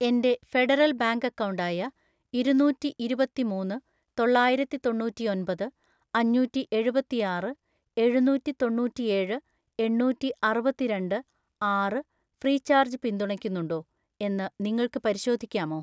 എൻ്റെ Federal Bank account ആയ ഇരുന്നൂറ്റിഇരുപത്തിമൂന്ന് തൊള്ളായിരത്തിത്തൊണ്ണൂറ്റിഒൻപത് അഞ്ഞൂറ്റിഎഴുപത്തിയാറ് എഴുന്നൂറ്റിതൊണ്ണൂറ്റിയേഴ് എണ്ണൂറ്റിഅറുപത്തിരണ്ട് ആറ് ഫ്രീചാർജ് പിന്തുണയ്ക്കുന്നുണ്ടോ എന്ന് നിങ്ങൾക്ക് പരിശോധിക്കാമോ?